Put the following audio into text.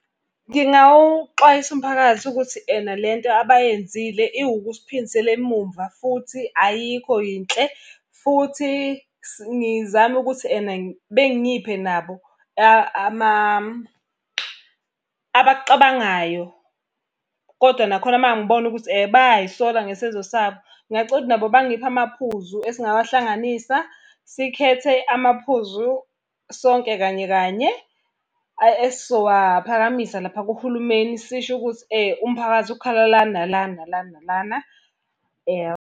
Ngingawuxwayisa umphakathi ukuthi ena lento abayenzile iwukusiphindisela emumva futhi ayikho yinhle. Futhi ngizame ukuthi ena bengiphe nabo abakucabangayo. Kodwa nakhona uma ngibona ukuthi bayay'sola ngesenzo sabo, ngingacela ukuthi nabo bangiphe amaphuzu esingawahlanganisa, sikhethe amaphuzu sonke kanye kanye, esizowaphakamisa lapha kuhulumeni sisho ukuthi umphakathi ukhala la nala nala nalana .